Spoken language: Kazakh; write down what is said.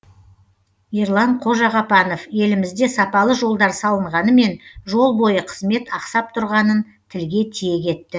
ерлан қожағапанов елімізде сапалы жолдар салынғанымен жол бойы қызмет ақсап тұрғанын тілге тиек етті